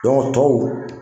tɔw